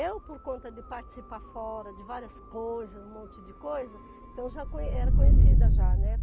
Eu, por conta de participar fora de várias coisas, um monte de coisa, então já conhe era conhecida já, né?